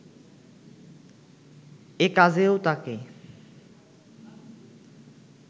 এ কাজেও তাকে